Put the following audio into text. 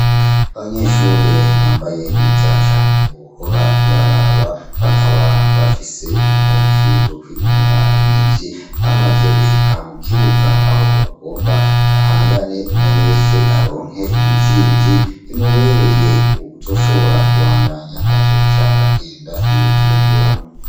Abanyeshure bambaye neza cane wohora uraraba. Bakaba bafise impuzu zo kwinonora imitsi . Bamaze gushika mu kibuga aho bagomba bahangane umwe wese aronke intsinzi imubereye. Uwuzoshobora kubandanya azoca agenda i Bujumbura.